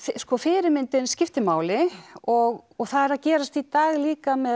fyrirmyndin skiptir máli og það er að gerast í dag líka með